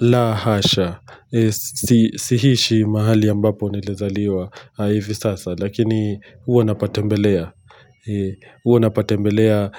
La hasha. Sihishi mahali ambapo nilazaliwa hivi sasa. Lakini huwa napatembelea. Huwa napatembelea